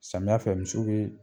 Samiya fɛ misiw be